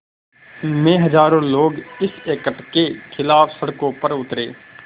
में हज़ारों लोग इस एक्ट के ख़िलाफ़ सड़कों पर उतरे